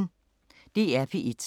DR P1